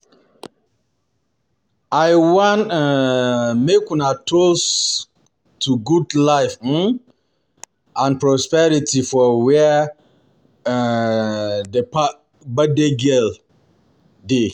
I wan um make we toast to long life um and prosperity for where um the birthday girl dey